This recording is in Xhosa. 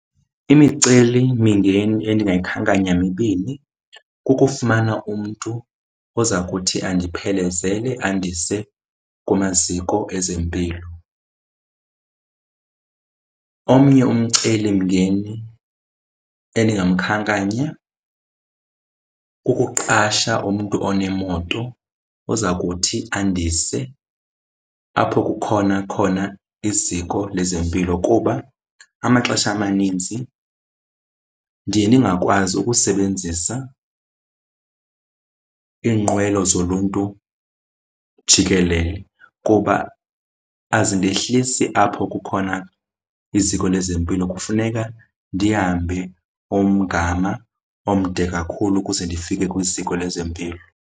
Imicelimingeni endingayikhankanya mibini, kukufumana umntu oza kuthi andiphelezele andise kumaziko ezempilo. Omnye umcelimngeni endingamkhankanya kukuqasha umntu onemoto oza kuthi andise apho kukhona khona iziko lezempilo kuba amaxesha amaninzi ndiye ndingakwazi ukusebenzisa iinqwelo zoluntu jikelele kuba azindehlisi apho kukhona iziko lezempilo. Kufuneka ndihambe umgama omde kakhulu ukuze ndifike kwiziko lezempilo.